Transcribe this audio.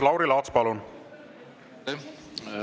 Lauri Laats, palun!